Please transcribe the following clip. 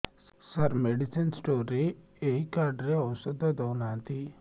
ସାର medicine store ରେ ଏଇ card ରେ ଔଷଧ ଦଉନାହାନ୍ତି